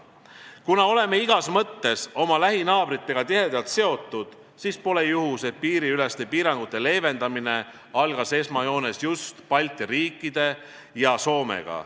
Kuna oleme igas mõttes oma lähinaabritega tihedalt seotud, siis pole juhus, et piiriüleste piirangute leevendamine algas esmajoones just koostöös Balti riikide ja Soomega.